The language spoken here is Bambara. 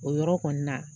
O yɔrɔ kɔni na